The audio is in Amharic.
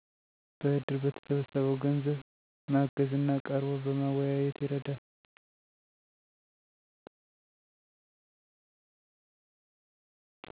በእድር በተሠበሰበው ገንዘብ ማገዝ እና ቀርቦ በማወያየት ይረዳል።